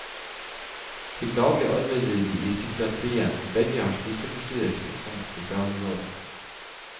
Til daglig arbeider de i psykiatrien, og begge har spiseforstyrrelser som spesialområde.